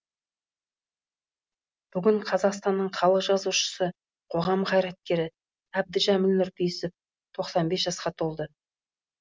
бүгін қазақстанның халық жазушысы қоғам қайраткері әбдіжәміл нұрпейісов тоқсан бес жасқа толды